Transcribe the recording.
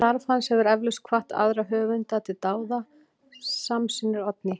Starf hans hefur eflaust hvatt aðra höfunda til dáða, samsinnir Oddný.